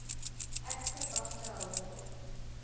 actor bafta award